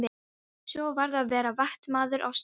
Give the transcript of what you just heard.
Svo varð að vera vaktmaður á staðnum.